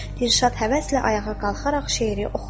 Dilşad həvəslə ayağa qalxaraq şeiri oxudu.